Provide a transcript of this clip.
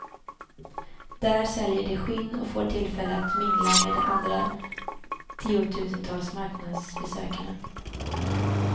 Där säljer de skinn och får tillfälle att mingla med de andra tiotusentals marknadsbesökarna.